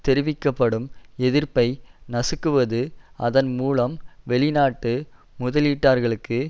தெரிவிக்க படும் எதிர்ப்பை நசுக்குவது அதன் மூலம் வெளிநாட்டு முதலீட்டாளர்களுக்கு